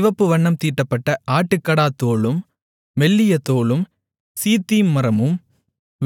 சிவப்பு வண்ணம் தீட்டப்பட்ட ஆட்டுக்கடாத்தோலும் மெல்லிய தோலும் சீத்திம் மரமும்